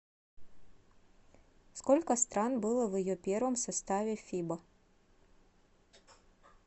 сколько стран было в ее первом составе фиба